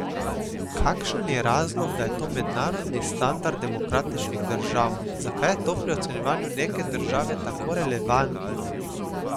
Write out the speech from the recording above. Kakšen je razlog, da je to mednarodni standard demokratičnih držav, zakaj je to pri ocenjevanju neke države tako relevantno?